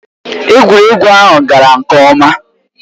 Egwuregwu ahụ gara nke ọma.